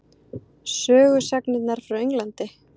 Sögusagnirnar frá Englandi?